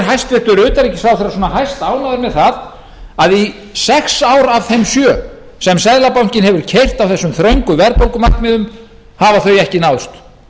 hæstvirtur utanríkisráðherra svona hæstánægð með það að í sex ár af þeim sjö sem seðlabankinn hefur keyrt á þessum þröngu verðbólgumarkmiðum hafa þau ekki náðst